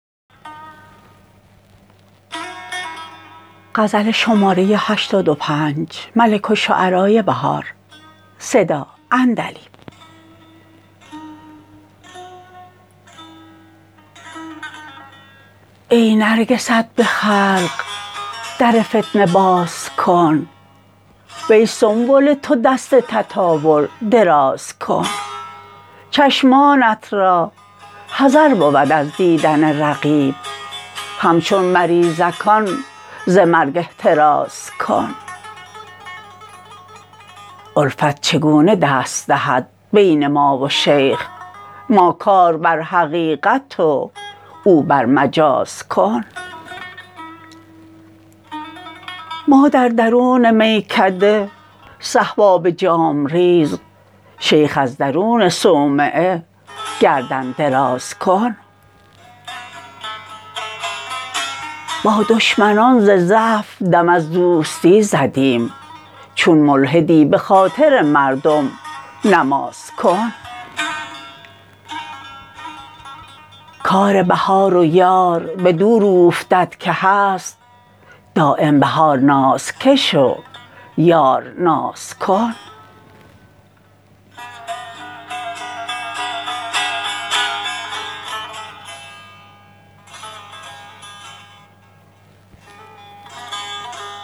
ای نرگست به خلق در فتنه بازکن وی سنبل تودست تطاول درازکن چشمانت را حذر بود از دیدن رقیب همچون مریضکان ز مرگ احترازکن الفت چگونه دست دهد بین ما وشیخ ماکار بر حقیقت و او بر مجازکن ما در درون میکده صهبا به جام ریز شیخ از درون صومعه گردن درازکن با دشمنان ز ضعف دم از دوستی زدیم چون ملحدی به خاطر مردم نمازکن کار بهار و یار به دور اوفتدکه هست دایم بهار نازکش و یار نازکن